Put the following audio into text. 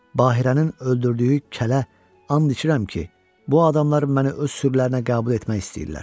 Bahirənin öldürdüyü kələ, and içirəm ki, bu adamlar məni öz sürülərinə qəbul etmək istəyirlər.